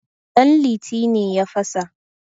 danliti ne ya fasa